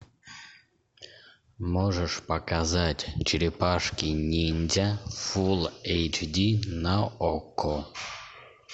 можешь показать черепашки ниндзя фулл эйч ди на окко